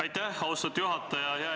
Aitäh, austatud juhataja!